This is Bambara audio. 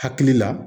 Hakili la